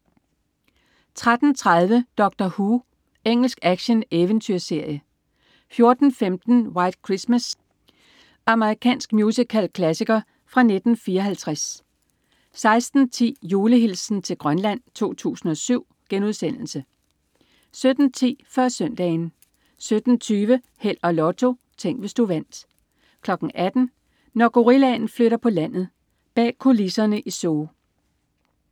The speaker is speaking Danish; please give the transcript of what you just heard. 13.30 Doctor Who. Engelsk actioneventyrserie 14.15 White Christmas. Amerikansk musicalklassiker fra 1954 16.10 Julehilsen til Grønland 2007* 17.10 Før Søndagen 17.20 Held og Lotto. Tænk, hvis du vandt 18.00 Når gorillaen flytter på landet. Bag kulisserne i zoo